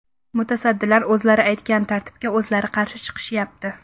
Mutasaddilar o‘zlari aytgan tartibga o‘zlari qarshi chiqishyapti.